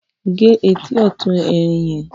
gé ẹtì ọ̀tún Erin yẹn